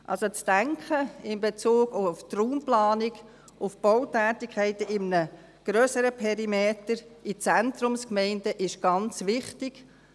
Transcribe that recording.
Also, das Denken in einem grösseren Perimeter, in Zentrumsgemeinden, auch in Bezug auf die Raumplanung, auf die Bautätigkeiten, ist ganz wichtig.